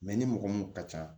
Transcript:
ni mɔgɔ mun ka ca